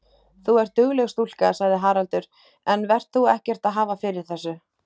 Þú ert dugleg stúlka, sagði Haraldur, en vert þú ekkert að hafa fyrir þessu.